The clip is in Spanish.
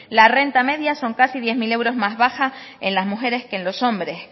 la renta media son casi diez mil euros más baja en las mujeres que en los hombres